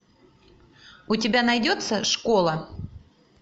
у тебя найдется школа